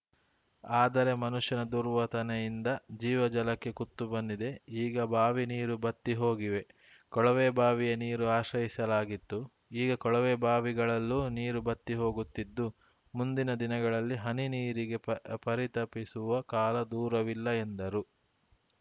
ಆದರೆ ಮನುಷ್ಯನ ದುರ್ವತನೆಯಿಂದ ಜೀವ ಜಲಕ್ಕೆ ಕುತ್ತು ಬಂದಿದೆ ಈಗ ಬಾವಿ ನೀರು ಬತ್ತಿಹೋಗಿವೆ ಕೊಳವೆಬಾವಿಯ ನೀರು ಆಶ್ರಯಿಸಲಾಗಿತ್ತು ಈಗ ಕೊಳವೆ ಬಾವಿಗಳಲ್ಲೂ ನೀರು ಬತ್ತಿಹೋಗುತ್ತಿದ್ದು ಮುಂದಿನ ದಿನಗಳಲ್ಲಿ ಹನಿ ನೀರಿಗೆ ಪ ಪರಿತಪಿಸುವ ಕಾಲ ದೂರವಿಲ್ಲ ಎಂದರು